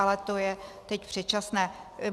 Ale to je teď předčasné.